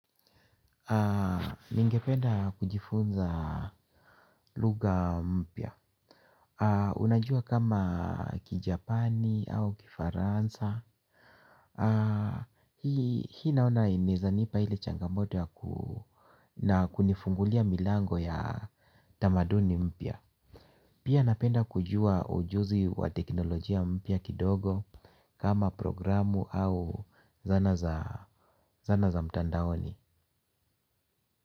Ningependa kujifunza lugha mpya. Unajua kama kijapani au kifaransa. Hii naona inezanipa ile changamote na kunifungulia milango ya tamaduni mpya. Pia napenda kujua ujuzi wa teknolojia mpya kidogo. Kama programu au zana za mtandaoni.